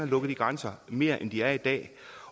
lukket de grænser mere end de er i dag